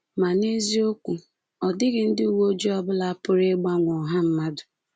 Ma n’eziokwu, ọ dịghị ndị uwe ojii ọ bụla pụrụ ịgbanwe ọha mmadụ.